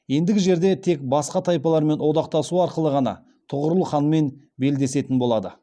ендігі жерде тек басқа тайпалармен одақтасу арқылы ғана тұғырыл ханмен белдесетін болады